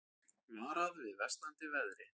Varað við versnandi veðri